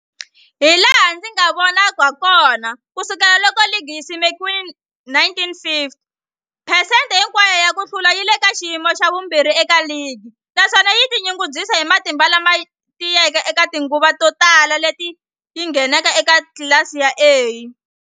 Hilaha ndzi nga vona hakona, ku sukela loko ligi yi simekiwile 1950, phesente hinkwayo ya ku hlula yi le ka xiyimo xa vumbirhi eka ligi, naswona yi tinyungubyisa hi matimba lama tiyeke eka tinguva to tala leti yi ngheneke eka tlilasi ya A.